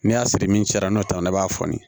N'i y'a siri min cɛ n'o taara i b'a fɔni